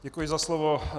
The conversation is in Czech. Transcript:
Děkuji za slovo.